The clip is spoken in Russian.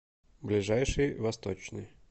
ближайший восточный